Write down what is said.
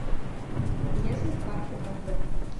есть ли в парке кафе